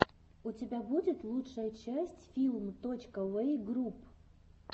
у тебя будет лучшая часть филм точка йуэй групп